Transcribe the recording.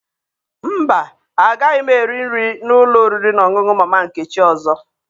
Mba, agaghị m eri nri na ụlọ oriri na ọṅụṅụ Mama Nkechi ọzọ